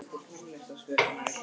Þú bjóst í Hamborg frá barnæsku.